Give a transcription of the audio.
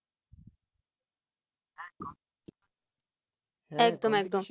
একদম একদম